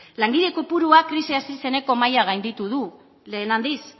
langile kopurua krisia hasi zeneko maila gainditu du lehen aldiz